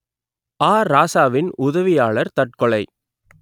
ஆ ராசாவின் உதவியாளர் தற்கொலை